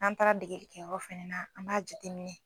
An mi taa dege yen yɔrɔ fɛnɛ na, an m'a jateminɛ